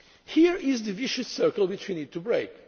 supply. Here is the vicious circle which we need